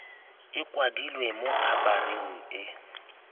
e kwadilwe mo khabareng e